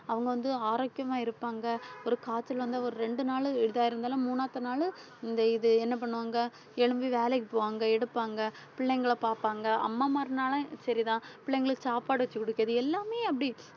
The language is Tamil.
அவங்க வந்து ஆரோக்கியமா இருப்பாங்க ஒரு காய்ச்சல் வந்தா ஒரு ரெண்டு நாளு இதாயிருந்தாலும் மூணாவது நாளு இந்த இது என்ன பண்ணுவாங்க எழும்பி வேலைக்கு போவாங்க எடுப்பாங்க பிள்ளைங்கள பாப்பாங்க அம்மாமார்னாலும் சரிதான் பிள்ளைங்களுக்கு சாப்பாடு வச்சு குடுக்குறது எல்லாமே அப்படி